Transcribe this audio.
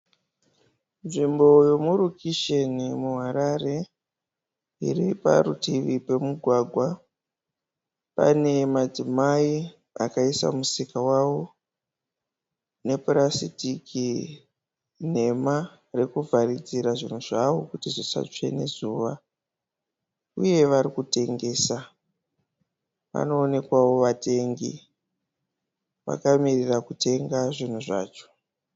Nzvimbo yemurukisheni muHarare iri parutivi pemugwagwa pane madzimai akaisa musika wavo nepurasiriki nhema rekuvharidzira zvinhu zvavo kuti zvisatsve nezuva uye vari kutengesa. Panoonekwa vatengi vakamirira zvinhu zvacho.